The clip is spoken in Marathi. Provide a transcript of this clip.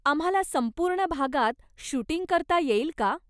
आम्हाला संपूर्ण भागात शूटिंग करता येईल का?